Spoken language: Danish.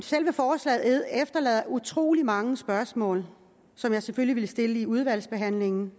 selve forslaget efterlader utrolig mange spørgsmål som jeg selvfølgelig vil stille i udvalgsbehandlingen